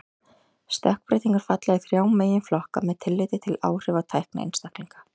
Stökkbreytingar falla í þrjá meginflokka með tilliti til áhrifa á hæfni einstaklinga.